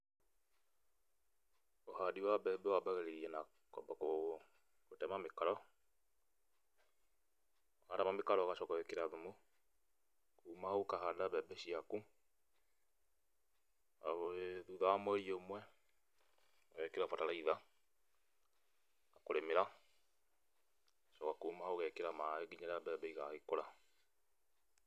Ũhandi wa mbembe wambagĩrĩria na kwamba kũtema mĩkaro, watema mĩkaro ũgacoka ũgekĩra thumu, kuuma hau ũkahanda mbembe ciaku, arabu thutha wa mweri ũmwe, ũgekĩra bataraitha, kũrĩmĩra, gũcoka kuuma hau ũgekĩra maĩ nginya rĩrĩa mbembe igagĩkũra.